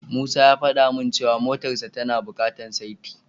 Musa ya fada min cewa motarsa tana bukatar saiti.